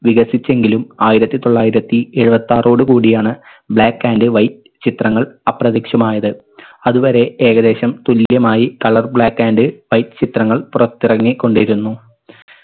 വികസിച്ചെങ്കിലും ആയിരത്തി തൊള്ളായിരത്തിഎഴുപത്താറോട് കൂടിയാണ് black and white ചിത്രങ്ങൾ അപ്രത്യക്ഷമായത്. അതുവരെ ഏകദേശം തുല്യമായി colour black and white ചിത്രങ്ങൾ പുറത്തിറങ്ങിക്കൊണ്ടിരുന്നു.